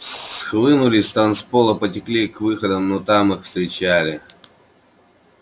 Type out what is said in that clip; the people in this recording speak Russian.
схлынули с танцпола потекли к выходам но там их встречали